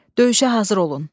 Döyüşə hazır olun.